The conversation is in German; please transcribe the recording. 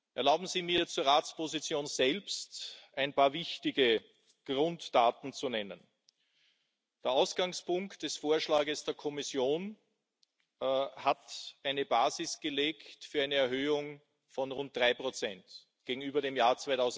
Erlauben Sie mir, zur Ratsposition selbst ein paar wichtige Grunddaten zu nennen Der Ausgangspunkt des Vorschlags der Kommission hat eine Basis gelegt für eine Erhöhung von rund drei Prozent gegenüber dem Jahr